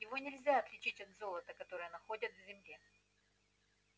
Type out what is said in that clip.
его нельзя отличить от золота которое находят в земле